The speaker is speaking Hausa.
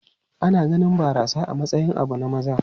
Ana ganin barasa a matsayin abu na maza.